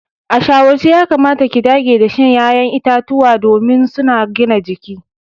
A shawarce yakamata ki dage da shan ya'yan itacuwa domin suna gina jiki.